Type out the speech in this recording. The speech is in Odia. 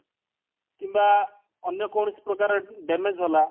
କିମ୍ବା ଅନ୍ୟ କୌଣସି ପ୍ରକାରେ damage ହେଲା